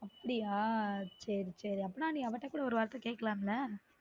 அப்டியா சேரி சேரி அப்பனா நீ அவ கிட்ட ஒரு வார்த்தை கேக்கலாம் ல